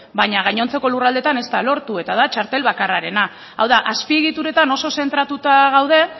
baina gainontzeko lurraldeetan ez da lortu eta da txartel bakarrarena hau da azpiegituretan oso zentratuta gaude